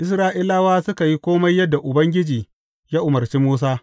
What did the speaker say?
Isra’ilawa suka yi kome yadda Ubangiji ya umarci Musa.